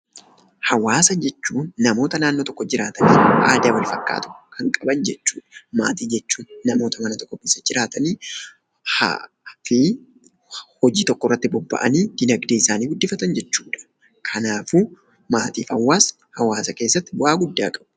Hawaasa jechuun namoota naannoo tokko jiraatan aadaa walfakkaatu kan qaban jechuudha. Maatii jechuun namoota mana tokko keessa jiraatanii fi hojii tokkorratti bobba'anii diinagdeesaanii guddifatan jechuudha. Kanaafuu maatiif hawaasni hawaasa keessatti bu'aa guddaa qabu.